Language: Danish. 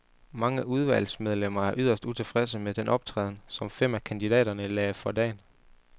Mange udvalgsmedlemmer er yderst utilfredse med den optræden, som fem af kandidaterne lagde for dagen.